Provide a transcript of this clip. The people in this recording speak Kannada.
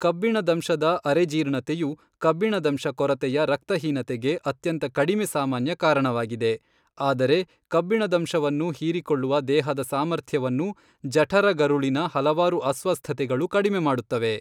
ಕಬ್ಬಿಣದಂಶದ ಅರೆಜೀರ್ಣತೆಯು ಕಬ್ಬಿಣದಂಶ ಕೊರತೆಯ ರಕ್ತಹೀನತೆಗೆ ಅತ್ಯಂತ ಕಡಿಮೆ ಸಾಮಾನ್ಯ ಕಾರಣವಾಗಿದೆ, ಆದರೆ ಕಬ್ಬಿಣದಂಶವನ್ನು ಹೀರಿಕೊಳ್ಳುವ ದೇಹದ ಸಾಮರ್ಥ್ಯವನ್ನು ಜಠರಗರುಳಿನ ಹಲವಾರು ಅಸ್ವಸ್ಥತೆಗಳು ಕಡಿಮೆ ಮಾಡುತ್ತವೆ.